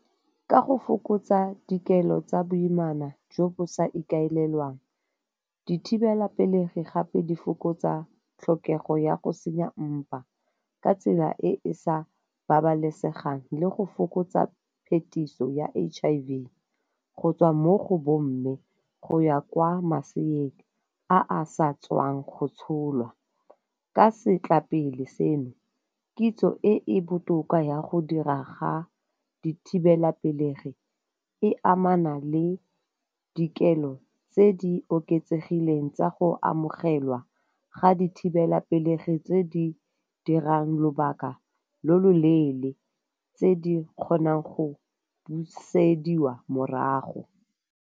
Ka go fokotsa dikelo tsa boimana jo bo sa ikaelelwang, dithibelapelegi gape di fokotsa tlhokego ya go senya mpa ka tsela e e sa babalesegang le go fokotsa phetiso ya H_I_V go tswa mo go bo mme go ya kwa maseeng a a sa tswang go tsholwa. Ka setla pele seno kitso e e botoka ya go dira ga dithibelapelegi e amana le dikelo tse di oketsegileng tsa go amogelwa ga dithibelapelegi tse di dirang lobaka lo lo leele tse di kgonang go busediwa morago.